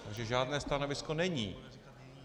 Takže žádné stanovisko není.